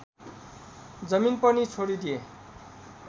जमिन पनि छोडिदिए